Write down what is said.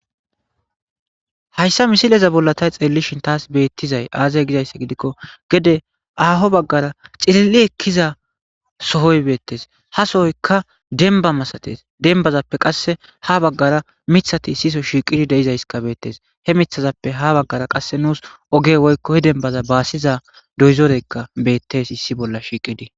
Hayssa misileza bolla tay xeellishin taas beettizay aazay gizayssa gidikko gede aaho baggara xililli ekkiza sohoy beettes ha soyka denba masates denbazappe qasse ha baggara mithati siso shiiqidi deizayskabeettes he mithazappe ha baggara qasse nuus oge woykko he denbaza baasiza doyzoreykka bettes issi bolla shiiqidi.